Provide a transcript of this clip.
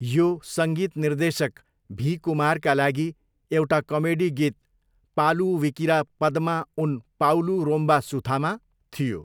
यो सङ्गीत निर्देशक भी. कुमारका लागि एउटा कमेडी गीत 'पालु विकिरा पद्मा उन पाउलु रोम्बा सुथामा?' थियो।